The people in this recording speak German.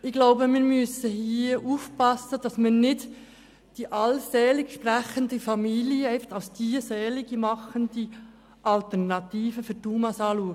Ich glaube, wir müssen hier aufpassen, dass wir nicht die allseits selig gesprochene Familie als die seligmachende Alternative für die UMA betrachten.